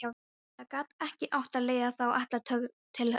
Það gat ekki átt að leiða þá alla til höggs.